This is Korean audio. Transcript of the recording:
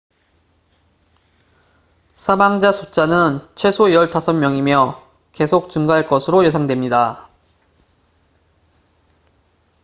사망자 숫자는 최소 15명이며 계속 증가할 것으로 예상됩니다